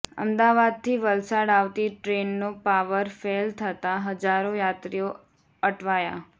અમદાવાદથી વલસાડ આવતી ટ્રેનનો પાવર ફેલ થતાં હજારો યાત્રીઓ અટવાયા